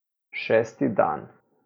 Šesti dan.